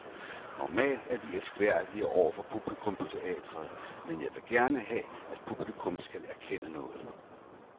Normalt er vi elskværdige over for publikum på teatret, men jeg vil gerne have, at publikum skal erkende noget.